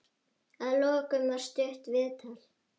Að lokum var stutt viðtal.